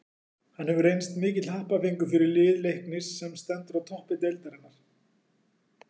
Hann hefur reynst mikill happafengur fyrir lið Leiknis sem er sem stendur á toppi deildarinnar.